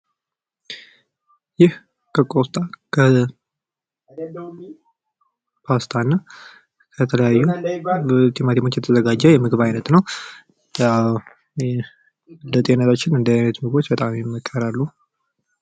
ይህ ከቆስጣ ከፓስታና ከተለያዩ በቲማቲሞች የተዘጋጄ የምግብ አይነት ነው። ለጤንነት እንደዚህ አይነት ምግቦች ይመከራሉ።